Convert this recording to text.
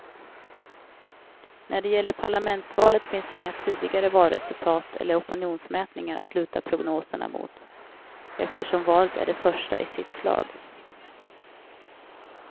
När det gäller parlamentsvalet finns inga tidigare valresultat eller opinionsmätningar att luta prognoserna mot, eftersom valet är det första i sitt slag.